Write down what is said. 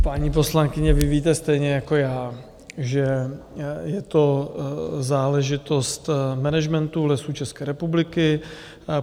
Paní poslankyně, vy víte stejně jako já, že je to záležitost managementu Lesů České republiky.